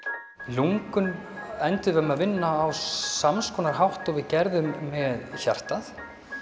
lungun enduðum að vinna á sama hátt og við gerðum með hjartað